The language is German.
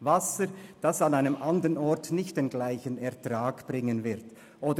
Wasser, das an einem anderen Ort nicht denselben Ertrag bringen würde.